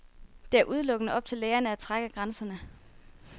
Det er udelukkende op til lægerne at trække grænserne.